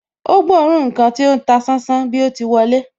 Ó gbóòórùn ǹkan tí ó ń ta sánsán bí o ti wọlé